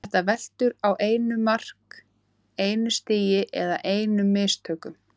Þetta veltur á einu mark, einu stigi eða einum mistökum.